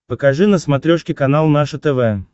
покажи на смотрешке канал наше тв